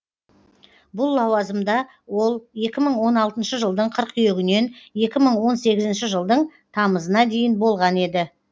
бұл лауазымда ол екі мың он алтыншы жылдың қыркүйегінен екі мың он сегізінші жылдың тамызына дейін болған еді